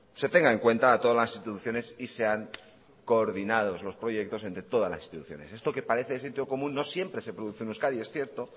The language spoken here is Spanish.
se tenga en cuenta a todas las instituciones y sean coordinados los proyectos entre todas las instituciones esto que parece de sentido común no siempre se produce en euskadi es cierto